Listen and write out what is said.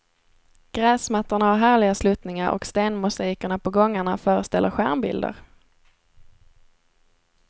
Gräsmattorna har härliga sluttningar och stenmosaikerna på gångarna föreställer stjärnbilder.